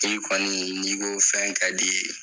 I kɔni, n'i ko fɛn ka d'i ye.